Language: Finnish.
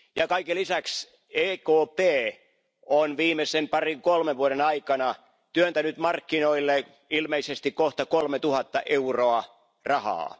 Kaiken lisäksi EKP on viimeisen parin kolmen vuoden aikana työntänyt markkinoille ilmeisesti kohta 3000 miljardia euroa rahaa.